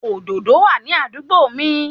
Òdòdó wà ní àdúgbò mi